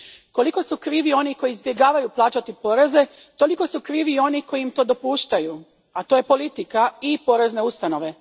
Koliko su krivi oni koji izbjegavaju plaćati poreze, toliko su krivi i oni koji im to dopuštaju, a to su politika i porezne ustanove.